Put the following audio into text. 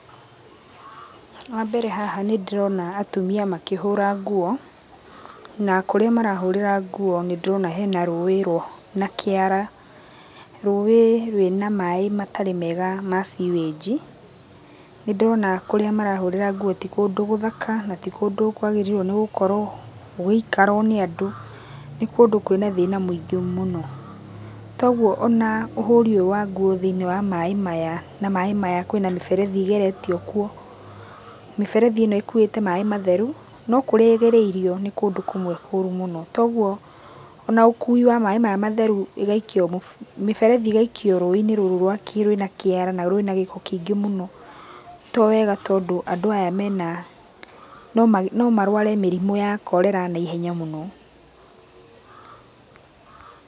Wambere haha nĩndĩrona atumia makĩhũra nguo, na kũrĩa marahũrĩra nguo nĩndĩrona hena rũĩ na kĩara. Rũĩ rwĩna maĩ matarĩ mega ma seawage i, nĩndĩrona kũrĩa marahũrĩra nguo ti kũndũ gũthaka, na ti kũndũ kwagĩrĩirũo nĩgũkorwo gũgĩikarwo nĩ andũ. Nĩ kũndũ kwĩna thĩna mũingĩ mũno. Toguo ona ũhũri ũyũ wa nguo thĩiniĩ maĩ maya, na maĩ maya kwĩna mĩberethi ĩgeretio kuo. Mĩberethi ĩno ĩkuĩte maĩ matheru, no kũrĩa ĩgereirio nĩ kũndũ kũmwe kũru mũno. Toguo ona ũkui wa maĩ maya matheru igaikio mĩberethi ĩgaikio rũĩ-inĩ rũrũ rwa rwĩna kĩara na rwĩna gĩko kĩingĩ mũno, to wega tondũ andũ aya mena, no ma, no marware mĩrimũ ya cholera naihenya mũno. Pause